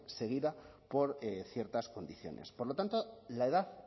seguida por ciertas condiciones por lo tanto la edad